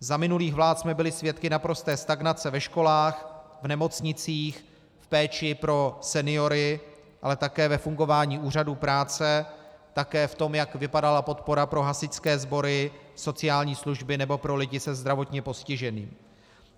Za minulých vlád jsme byli svědky naprosté stagnace ve školách, v nemocnicích, v péči pro seniory, ale také ve fungování úřadů práce, také v tom, jak vypadala podpora pro hasičské sbory, sociální služby nebo pro lidi se zdravotním postižením.